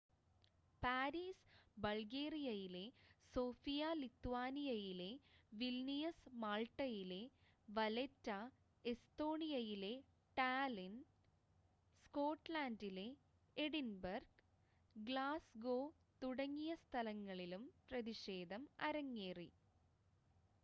Paris ബൾഗേറിയയിലെ Sofia ലിത്വാനിയയിലെ Vilnius മാൾട്ടയിലെ വലെറ്റ എസ്തോണിയയിലെ ടാലിൻ സ്കോട്ട്ലൻഡിലെ എഡിൻബർഗ് ഗ്ലാസ്ഗോ തുടങ്ങിയ സ്ഥലങ്ങളിലും പ്രതിഷേധം അരങ്ങേറി